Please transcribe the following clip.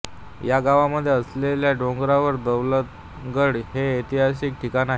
या गावामध्ये असलेल्या डोंगरावर दौलतगड हे ऐतिहासिक ठिकाण आहे